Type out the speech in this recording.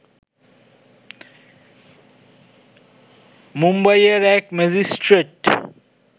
মুম্বাইয়ের এক ম্যাজিস্ট্রেট